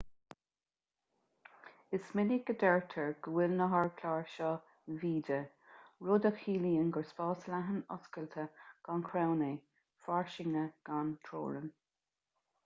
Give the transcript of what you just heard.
is minic a deirtear go bhfuil na hardchláir seo vidde rud a chiallaíonn gur spás leathan oscailte gan chrann é fairsinge gan teorainn